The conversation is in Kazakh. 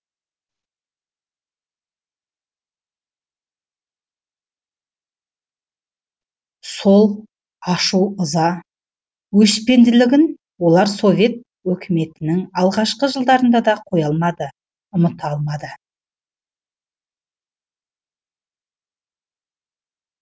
сол ашу ыза өшпенділігін олар совет өкіметінің алғашқы жылдарында да қоя алмады ұмыта алмады